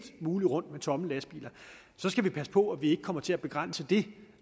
muligt rundt med tomme lastbiler så skal vi passe på at vi ikke kommer til at begrænse det